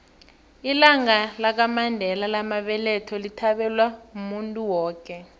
ilanga lamandela lamabeletho lithabelwa muntu woke